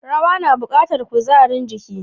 Rawa na bukatar kuzarin jiki.